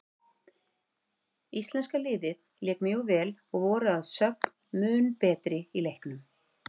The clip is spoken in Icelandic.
Íslenska liðið lék mjög vel og voru að sögn mun betri í leiknum.